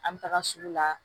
An bɛ taga sugu la